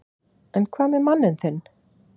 En hvað með manninn þinn?